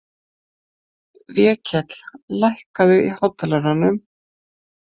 Vékell, lækkaðu í hátalaranum.